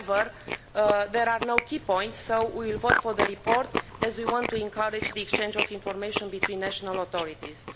However, there are no key points, so we will vote for the report as we want to encourage the exchange of information between national authorities.